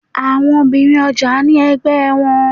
Àwọn obìnrin ọjà ní ẹgbẹ́ wọn.